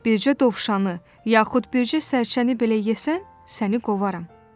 Bircə dovşanı yaxud bircə sərçəni belə yesən, səni qovaram."